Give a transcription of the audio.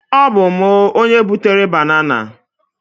ọ bu mu, onye butere banana.